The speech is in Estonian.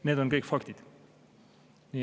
Need on kõik faktid.